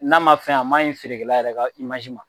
N'a ma fɛn a man ɲi feerekɛla yɛrɛ ka ma